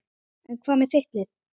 En hvað með þitt lið?